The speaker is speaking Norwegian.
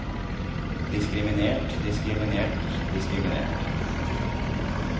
diskriminert diskriminert diskriminert